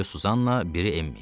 Biri Susanna, biri Emmi.